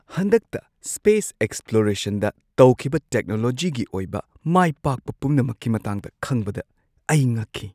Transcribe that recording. ꯍꯟꯗꯛꯇ ꯁ꯭ꯄꯦꯁ ꯑꯦꯛꯁꯄ꯭ꯂꯣꯔꯦꯁꯟꯗ ꯇꯧꯈꯤꯕ ꯇꯦꯛꯅꯣꯂꯣꯖꯤꯒꯤ ꯑꯣꯏꯕ ꯃꯥꯏꯄꯥꯛꯄ ꯄꯨꯝꯅꯃꯛꯀꯤ ꯃꯇꯥꯡꯗ ꯈꯪꯕꯗ ꯑꯩ ꯉꯛꯈꯤ꯫